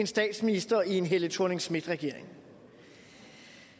statsminister i en helle thorning schmidt regering